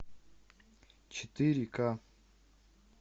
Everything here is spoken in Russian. четыре ка